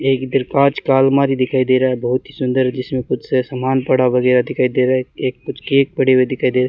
एक इधर कांच का अलमारी दिखाई दे रहा है बहोत ही सुंदर जिसमें कुछ सामान पड़ा हुआ दिखाई दे रहा है एक कुछ केक पड़े हुए दिखाई दे रहे है।